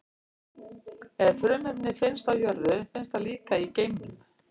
Ef frumefni finnst á jörðu, finnst það líka í geimnum.